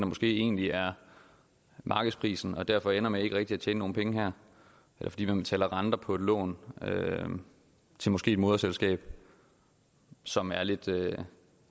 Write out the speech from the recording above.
måske egentlig er markedsprisen og derfor ender med ikke rigtig at tjene nogle penge eller fordi man betaler renter på et lån til måske et moderselskab som er lidt